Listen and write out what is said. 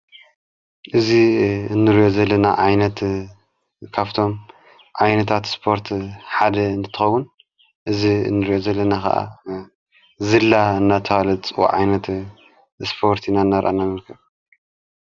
እዝ እንርዮ ዘለና ዓይነት ካፍቶም ዐይነታት ስጶርት ሓደ እንትኸውን እዝ እንርዮ ዘለና ኸዓ ዘላ እናተብሃለ ዝፅዋዕ ዓይነት ስጶርት ኢና እናረእና ንርከብ።